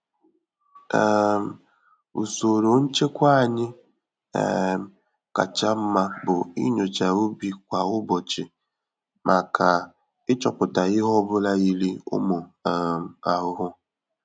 um Usoro nchekwa anyị um kacha mma bụ inyocha ubi kwa ụbọchị màkà ịchọpụta ihe ọbula yiri ụmụ um ahụhụ.